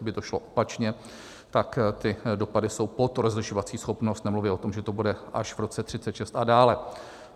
Kdyby to šlo opačně, tak ty dopady jsou pod rozlišovací schopnost, nemluvě o tom, že to bude až v roce 2036 a dále.